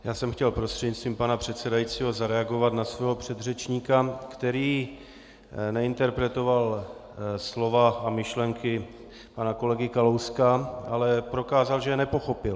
Já jsem chtěl prostřednictvím pana předsedajícího zareagovat na svého předřečníka, který neinterpretoval slova a myšlenky pana kolegy Kalouska, ale prokázal, že je nepochopil.